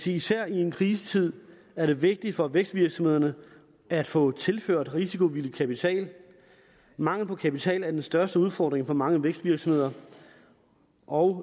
især i en krisetid er det vigtigt for vækstvirksomhederne at få tilført risikovillig kapital mangel på kapital er den største udfordring for mange vækstvirksomheder og